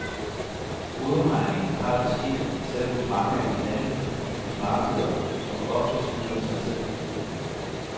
Hovedregningen har det skidt, selv hos mange af de handlende på byernes markeder, som ofte snyder sig selv.